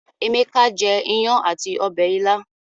Emeka jé iyán àti Ọbẹ̀ ìla.